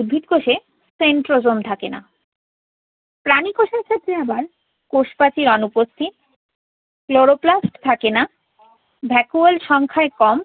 উদ্ভিদ কোষে centrosome থাকে না। প্রাণী কোষের ক্ষেত্রে আবার কোষপ্রাচীর অনুপস্থিত। Chloroplasts থাকে না vacuole সংখ্যাই কম